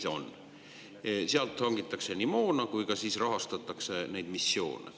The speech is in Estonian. Selle eest nii hangitakse moona kui ka rahastatakse missioone.